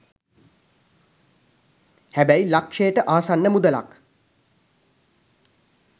හැබැයි ලක්ෂයට ආසන්න මුදලක්